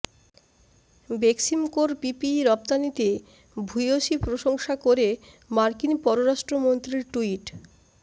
বেক্সিমকোর PPE রপ্তানিতে ভূয়সী প্রশংসা করে মার্কিন পররাষ্ট্রমন্ত্রীর টুইট